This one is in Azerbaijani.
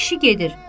Kişi gedir.